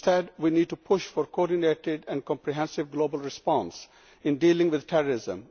Instead, we need to push for a coordinated and comprehensive global response in dealing with terrorism.